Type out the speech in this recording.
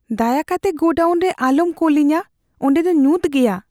ᱫᱟᱭᱟ ᱠᱟᱛᱮ ᱜᱳᱰᱟᱣᱩᱱ ᱨᱮ ᱟᱞᱚᱢ ᱠᱩᱞᱤᱧᱟ ᱾ ᱚᱸᱰᱮ ᱫᱚ ᱧᱩᱛ ᱜᱮᱭᱟ ᱾